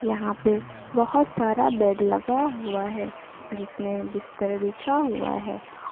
यहां पे बहुत सारा बेड लगा हुआ है जिसमें बिस्तर बिछा हुआ है।